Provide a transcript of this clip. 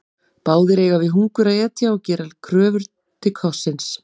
Báðir eiga við hungur að etja og gera kröfu til kossins.